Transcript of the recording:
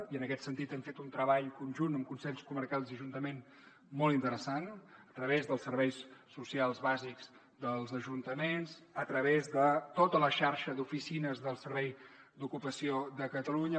i en aquest sentit hem fet un treball conjunt amb consells comarcals i ajuntaments molt interessant a través dels serveis socials bàsics dels ajuntaments a través de tota la xarxa d’oficines del servei d’ocupació de catalunya